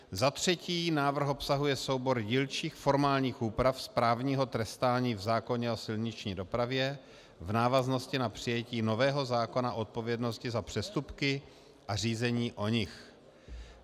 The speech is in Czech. Za třetí návrh obsahuje soubor dílčích formálních úprav správního trestání v zákoně o silniční dopravě v návaznosti na přijetí nového zákona o odpovědnosti za přestupky a řízení o nich.